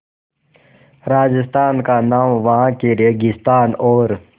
राजस्थान का नाम वहाँ के रेगिस्तान और